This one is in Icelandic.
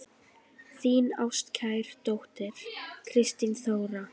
Þín ástkær dóttir, Kristín Þóra.